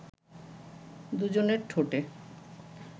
দু’জনের ঠোঁটে